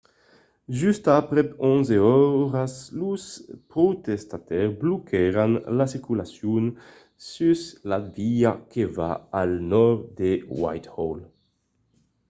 just aprèp 11 oras los protestaires bloquèron la circulacion sus la via que va al nòrd a whitehall